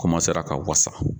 ka wasa.